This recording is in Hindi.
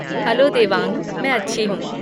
हैलो देवांग! मैं अच्छी हूँ।